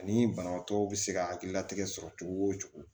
Ani banabaatɔw be se ka hakilina tigɛ sɔrɔ cogo wo cogo